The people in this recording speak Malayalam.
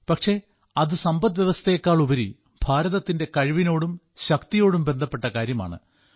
പക്ഷേ അത് സമ്പദ്വ്യവസ്ഥയെക്കാളുപരി ഭാരതത്തിന്റെ കഴിവിനോടും ശക്തിയോടും ബന്ധപ്പെട്ട കാര്യമാണ്